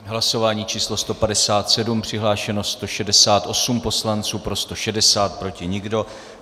Hlasování číslo 157, přihlášeno 168 poslanců, pro 160, proti nikdo.